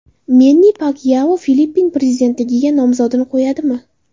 Menni Pakyao Filippin prezidentligiga nomzodini qo‘yadimi?